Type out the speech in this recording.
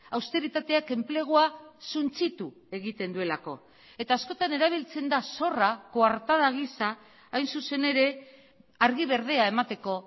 austeritateak enplegua suntsitu egiten duelako eta askotan erabiltzen da zorra koartada gisa hain zuzen ere argi berdea emateko